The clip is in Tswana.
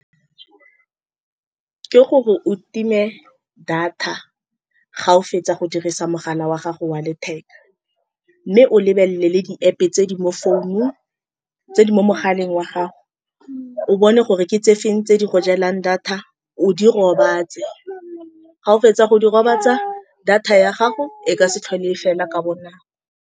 Ke gore o time data fa o fetsa go dirisa mogala wa gago wa letheka, mme o lebelele le di-App-pe tse di mo founung, tse di mo mogaleng wa gago. O bone gore ke tsefeng tse di go jelang data. O di robatse fa o fetsa go di robatsa, data ya gago e ka se tlhole fela ka bonako.